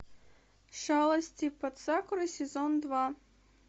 шалости под сакурой сезон два